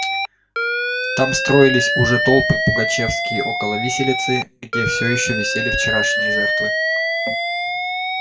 там строились уже толпы пугачёвские около виселицы где всё ещё висели вчерашние жертвы